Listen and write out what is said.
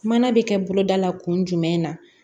Mana bɛ kɛ boloda la kun jumɛn na